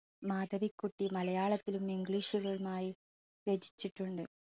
മാധവിക്കുട്ടി മലയാളത്തിലും english മായി രചിച്ചിട്ടുണ്ട്.